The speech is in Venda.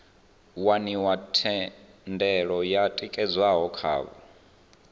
waniwa thendelo yo tikedzwaho khavho